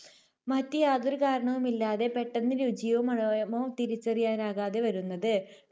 മറ്റ് യാതൊരു കാരണങ്ങളുമില്ലാതെ പെട്ടെന്ന് രുചിയോ മണ~മോ തിരിച്ചറിയാനാകാതെ വരുന്നത്.